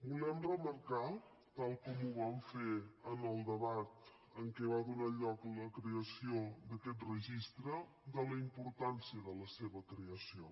volem remarcar tal com ho vam fer en el debat en què va donar lloc a la creació d’aquest registre la importància de la seva creació